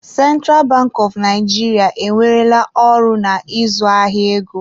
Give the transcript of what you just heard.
Central Bank of Nigeria ewerela ọrụ na ịzụ ahịa ego.